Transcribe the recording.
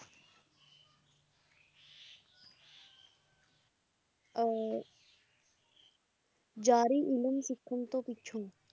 ਅਹ ਯਾਰੀ ਇਲਮ ਸਿੱਖਣ ਤੋਂ ਪਿੱਛੋਂ